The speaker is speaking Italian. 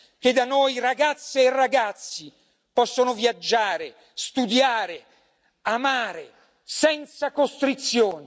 che da noi ragazze e ragazzi possono viaggiare, studiare, amare senza costrizioni